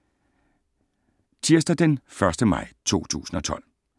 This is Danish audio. Tirsdag d. 1. maj 2012